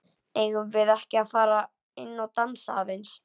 Eigum við ekki að fara inn og dansa aðeins?